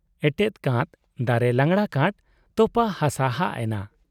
ᱮᱴᱮᱫ ᱠᱟᱸᱛ ,ᱫᱟᱨᱮ ᱞᱟᱜᱽᱲᱟ ᱠᱟᱸᱴ, ᱛᱚᱯᱟᱜ ᱦᱟᱥᱟᱦᱟᱜ ᱮᱱᱟ ᱾